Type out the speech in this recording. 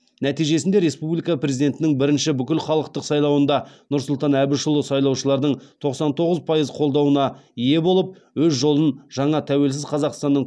нәтижесінде республика президентінің бірінші бүкілхалықтық сайлауында нұрсұлтан әбішұлы сайлаушылардың тоқсан тоғыз пайыз қолдауына ие болып өз жолын жаңа тәуелсіз қазақстанның